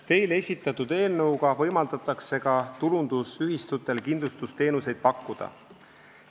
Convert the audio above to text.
Teile esitatud eelnõuga võimaldatakse ka tulundusühistutel kindlustusteenuseid pakkuda.